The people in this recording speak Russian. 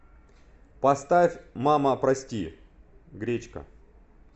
поставь мама прости гречка